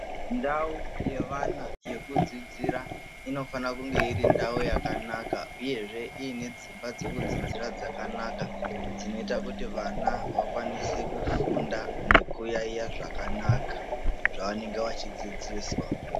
Ndau yevana yekudzidzira inofana kunge irindau yakanaka uyehe iine dzimba dzekudzidzira dzakanaka dzinoita kuti vana vakwanise kufunda nekuyaiya zvakanaka.